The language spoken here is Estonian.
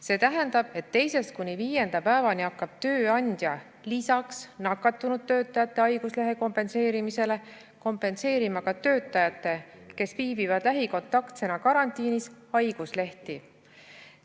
See tähendab, et 2.–5. päevani hakkab tööandja lisaks nakatunud töötajate haiguslehe kompenseerimisele kompenseerima ka töötajate, kes viibivad lähikontaktsena karantiinis, haiguslehti.